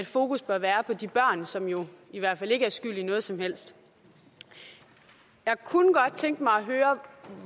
fokus bør være på de børn som jo i hvert fald ikke er skyld i noget som helst jeg kunne godt tænke mig at høre